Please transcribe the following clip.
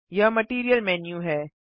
यह material menu है